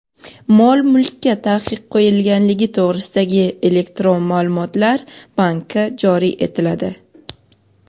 Mol-mulkka taqiq qo‘yilganligi to‘g‘risidagi elektron maʼlumotlar banki joriy etiladi.